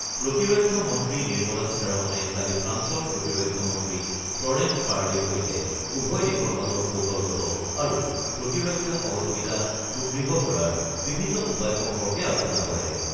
প্ৰতিৰক্ষা মন্ত্ৰী নিৰ্মলা সীতাৰমণে কালি ফ্ৰান্সৰ প্ৰতিৰক্ষা মন্ত্ৰী ফ্ল'ৰেন্স পাৰ্লিৰ সৈতে উভয় দেশৰ মাজৰ কৌশলগত আৰু প্ৰতিৰক্ষা সহযোগিতা সুদৃঢ় কৰাৰ বিভিন্ন উপায় সম্পৰ্কে আলোচনা কৰে।